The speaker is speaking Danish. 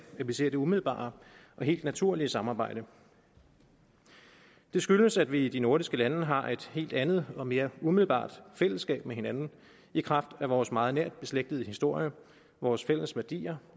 at vi ser det umiddelbare og helt naturlige samarbejde det skyldes at vi i de nordiske lande har et helt andet og mere umiddelbart fællesskab med hinanden i kraft af vores meget nært beslægtede historie vores fælles værdier